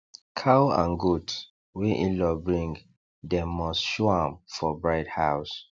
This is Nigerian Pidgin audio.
cow and goat wey inlaw bring dem must show am for bride house